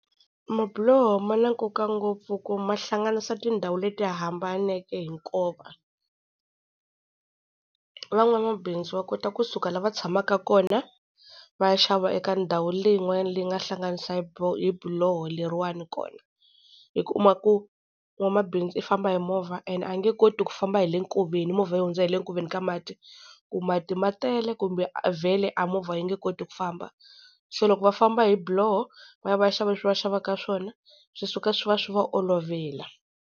Mabiloho ma na nkoka ngopfu ku mahlanganisa tindhawu leti hambaneke hi nkova. Van'wanamabindzu va kota kusuka la va tshamaka kona va ya xava eka ndhawu leyin'wanyana leyi nga hlanganisa hi hi biloho leriwani kona. Hi kuma ku n'wamabindzu i famba hi movha and a nge koti ku famba hi le nkoveni movha yi hundza hi le nkoveni ka mati, ku mati ma tele kumbe vhele a movha yi nge koti ku famba, se loko va famba hi biloho va ya va ya xava leswi va xavaka swona swi suka swi va swi va olovela.